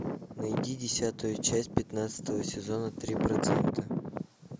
найди десятую часть пятнадцатого сезона три процента